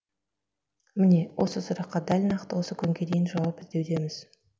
міне осы сұраққа дәл нақты осы күнге дейін жауап іздеудеміз